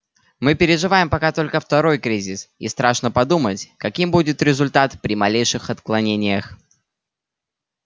мы переживаем пока только второй кризис и страшно подумать каким будет результат при малейших отклонениях